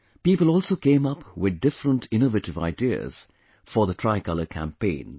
People also came up with different innovative ideas for the tricolor campaign